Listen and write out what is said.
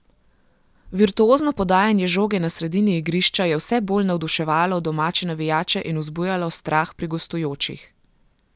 Virtuozno podajanje žoge na sredini igrišča je vse bolj navduševalo domače navijače in vzbujalo strah pri gostujočih.